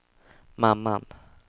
mamman